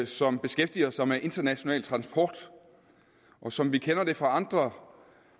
som beskæftiger sig med international transport og som vi kender det fra andre